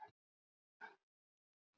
Össur-Mömmu frá Íslandi.